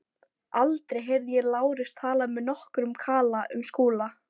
Aldrei heyrði ég Lárus tala með nokkrum kala um Skúla.